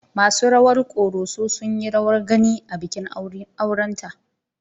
Masu rawar Ƙoroso sun yi rawar gani a bikin aurenta.